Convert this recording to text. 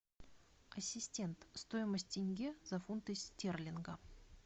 ассистент стоимость тенге за фунты стерлинга